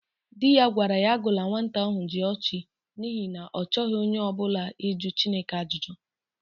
Di ya gwara ya agụla nnwata ahụ Jụọchị n'ihi na ọ chọghị onye ọ bụla ịjụ Chineka ajụjụ!